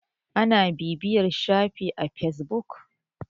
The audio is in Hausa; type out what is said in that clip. ana bibiyar shafin a fesbuk